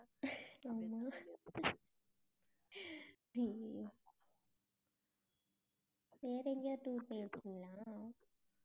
ஆமா அய்யயோ வேற எங்கயாவது tour போயிருக்கீங்களா